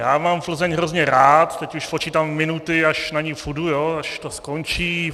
Já mám Plzeň hrozně rád, teď už počítám minuty, až na ni půjdu, až to skončí.